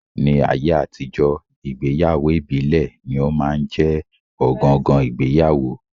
Ní ayé àtijọ́, ìgbéyàwó ìbílẹ̀ ní ó máa ń jẹ́ ọ̀gangan ìgbéyàwó